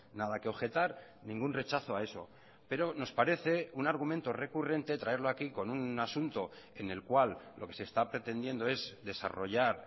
nada que objetar ningún rechazo a eso pero nos parece un argumento recurrente traerlo aquí con un asunto en el cual lo que se está pretendiendo es desarrollar